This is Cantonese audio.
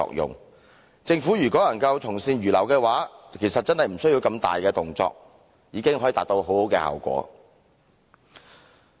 如果政府能從善如流，其實真的無須如此大動作，已可達很好的效果。